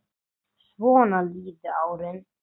Svona liðu árin.